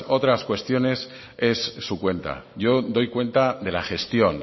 otras cuestiones es su cuenta yo doy cuenta de la gestión